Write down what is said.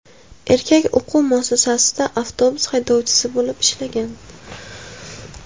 Erkak o‘quv muassasasida avtobus haydovchisi bo‘lib ishlagan.